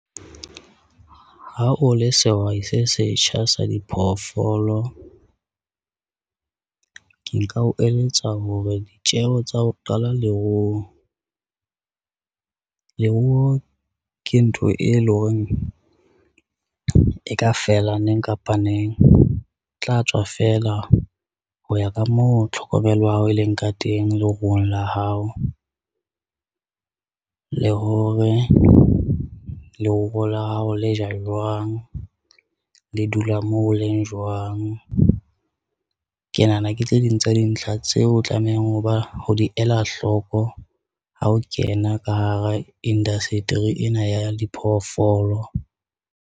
Ha o le sehwai se setjha sa diphoofolo ke nka o eletsa hore ditjeho tsa ho qala leruo. Leruo ke ntho e leng hore e ka feela neng kapa neng tla tswa feela ho ya ka moo tlhokomelo ya hao e leng ka teng, le ruong la hao le hore leruo la hao le ja jwang le dula moo o leng jwang. Ke nahana ke tse ding tsa dintlha tseo o tlamehang ho ba ho di ela hloko ha o kena ka hara industry ena ya diphoofolo.